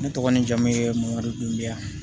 Ne tɔgɔ ni jamu ye moriduden